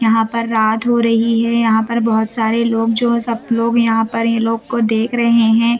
यहाँ पर रात हो रही है यहाँ पर बहोत सारे लोग जो सब लोग यहाँ पर ये लोग को देख रहे हैं।